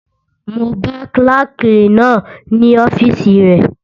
Mo bá kílàkì náà ní ọ́fìsì rẹ